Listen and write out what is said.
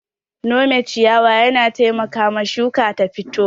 Nome ciyawa yana taimakawa shuka ta fito.